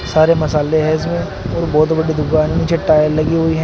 सारे मसाले हैं इसमें और बहुत बड़ी दुकान नीचे टाइल लगी हुई हैं।